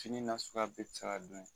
Kini nasuguya bɛɛ bɛ se ka dun n'a ye.